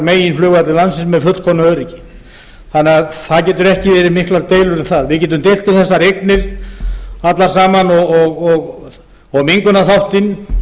á meginflugvelli landsins með fullkomnu öryggi það geta ekki verið miklar deilur um það við getum deilt um þær eignir sem þarna eru og mengunarþáttinn